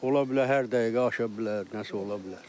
Ola bilər hər dəqiqə aşa bilər, nəsə ola bilər.